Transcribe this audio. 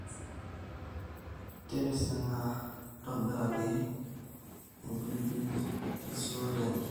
Tipisinga ntobirr`aki empirr`bil tesuote enye